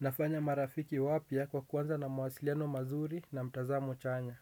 Nafanya marafiki wapya kwa kuanza na mawasiliano mazuri na mtazamo chanya.